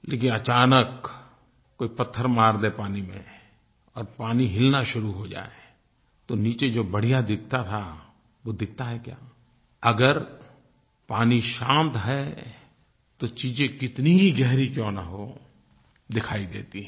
लेकिन अचानक कोई पत्थर मार दे पानी में और पानी हिलना शुरू हो जाए तो नीचे जो बढ़िया दिखता था वो दिखता है क्या अगर पानी शांत है तो चीज़ें कितनी ही गहरी क्यों न हों दिखाई देती हैं